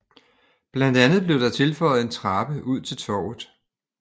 Blandt andet blev der tilføjet en trappe ud til Torvet